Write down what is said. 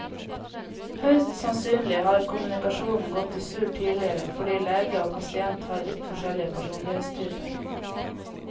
Høyst sannsynlig har kommunikasjonen gått i surr tidligere fordi lege og pasient har vidt forskjellig personlighetstyper.